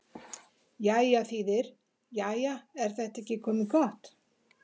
Jæja þýðir: Jæja, er þetta ekki komið gott?